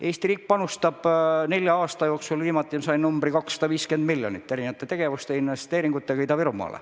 Eesti riik panustab nelja aasta jooksul, nagu ma viimati infot sain, 250 miljonit eurot erinevateks tegevusteks ja investeeringuteks Ida-Virumaale.